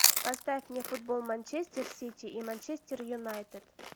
поставь мне футбол манчестер сити и манчестер юнайтед